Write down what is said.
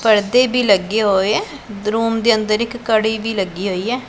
ਪੜਦੇ ਵੀ ਲੱਗੇ ਹੋਏ ਐ ਰੂਮ ਦੇ ਅੰਦਰ ਇੱਕ ਕੜੀ ਵੀ ਲੱਗੀ ਹੋਈ ਐ।